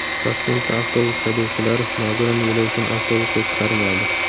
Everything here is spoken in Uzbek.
Toshkentda avtobus haydovchilari nogiron yo‘lovchini avtobusga chiqarmadi.